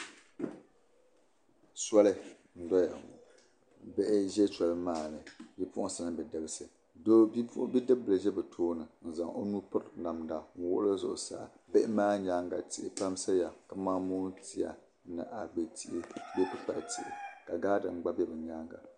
Soli n doya ŋɔ, bihi n ʒɛ sɔli maa ni bipuɣinsi. mini bidibisi bidibili ʒi bi tooni n zaŋ ɔnuu piriti namda, n wuɣili zuɣu saa bihi maa nyaaŋa tihi pam saya kaman moon tiya ni abe tihi bee kpi kpali tihi ka gaadeng be ni maa ni.